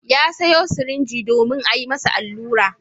Ya sayo sirinji domin a yi masa allura.